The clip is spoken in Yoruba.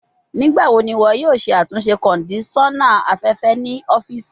Nigbawo ni iwọ yoo ṣe atunṣe kondisona afẹfẹ ni ọfiisi?